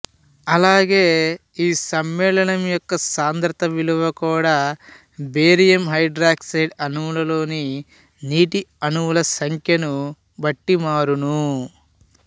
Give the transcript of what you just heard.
అలాగే ఈ సమ్మేళనం యొక్క సాంద్రత విలువ కుడా బేరియం హైడ్రాక్సైడ్ అణువులోని నీటి అణువుల సంఖ్యను బట్టి మారును